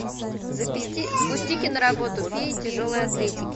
запусти киноработу феи тяжелой атлетики